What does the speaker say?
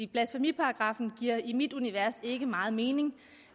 blasfemiparagraffen giver i mit univers ikke meget mening